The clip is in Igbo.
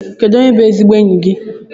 Kedu onye bú ezigbo enyi gị?